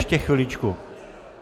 Ještě chviličku.